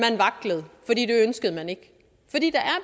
ønskede man ikke